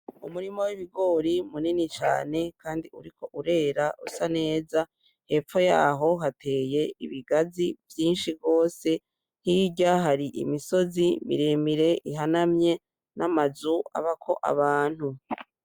Umurima w'ibigori munini cane kandi uriko urera usa neza hepfo yaho hateye ibigazi vyishi gose, hirya hari imisozi miremire ihanamye n'amazu abako abantu